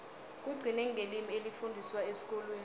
kugcine ngelimi elifundiswa esikolweni